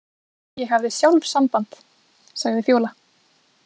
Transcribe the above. Ég hafði sjálf samband, sagði Fjóla.